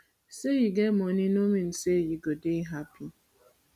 sey you get money no mean sey you go dey happy